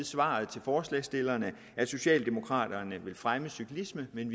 svar til forslagsstillerne at socialdemokraterne vil fremme cyklismen men